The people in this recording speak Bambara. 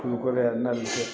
Ni kɔrɔ ye ne nali